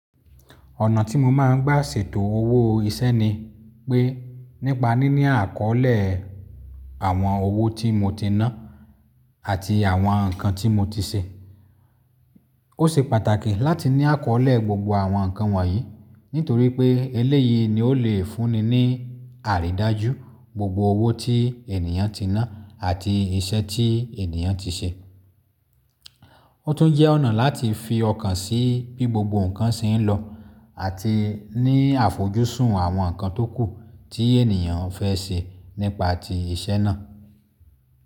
Ọ̀nà tí mo máa ń gbà ṣètò owó iṣẹ́ ni pé nípa níní àkọọ́lẹ̀ àwọn owó tí mo ti ná àti àwọn nǹkan tí mo ti ṣe. Ó ṣe pàtàkì láti ní àkọọ́lẹ̀ gbogbo àwọn nǹkan wọ̀nyí nítorí pé eléyìí ni ó le fúnni ní àrídájú gbogbo owó tí ènìyàn ti ná àti iṣẹ́ tí ènìyàn ti ṣe. Ó tún jẹ́ ọ̀nà láti fi ọkàn sí bí gbogbo nǹkan ṣe ń lọ àti ní àfojúsùn àwọn nǹkan tókù tí ènìyàn fẹ́ ṣe nípa ti iṣẹ́ náà.